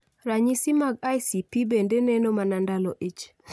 Ranyisi mag ICP bende neno mana ndalo ich